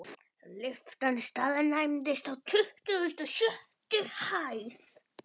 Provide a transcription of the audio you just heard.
Lyftan staðnæmdist á tuttugustu og sjöttu hæð.